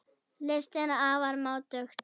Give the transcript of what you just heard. Listin er afar máttugt tæki.